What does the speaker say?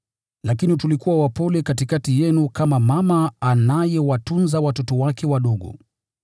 lakini tulikuwa wapole katikati yenu, kama mama anayewatunza watoto wake wadogo.